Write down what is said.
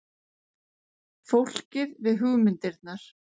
Fólkið við hugmyndirnar.